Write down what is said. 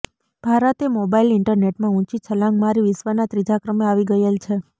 ભારતે મોબાઈલ ઈન્ટરનેટમાં ઉંચી છલાંગ મારી વિશ્વમાં ત્રીજા ક્રમે આવી ગયેલ છે